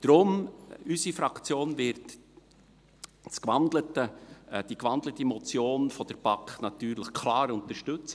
Deshalb: Unsere Fraktion wird die gewandelte Motion der BaK natürlich klar unterstützen.